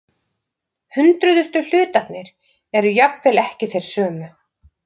Hundruðustu hlutanir eru jafnvel ekki þeir sömu.